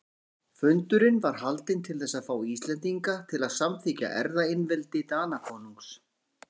Fundurinn var haldinn til þess að fá Íslendinga til að samþykkja erfðaeinveldi Danakonungs.